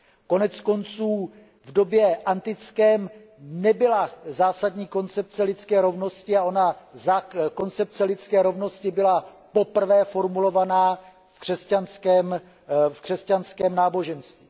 Koneckonců v době antické nebyla zásadní koncepce lidské rovnosti a ona koncepce lidské rovnosti byla poprvé formulovaná v křesťanském náboženství.